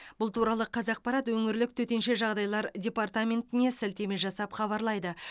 бұл туралы қазақпарат өңірлік төтенше жағдайлар департаментіне сілтеме жасап хабарлайды